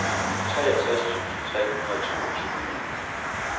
toogtres tusind tre hundrede og toogtyve